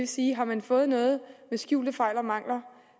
sige at har man fået noget med skjulte fejl og mangler